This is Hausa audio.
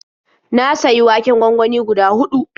Na sayi waken gwangwani guda huɗu.